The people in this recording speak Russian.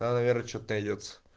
наверное что-то идёт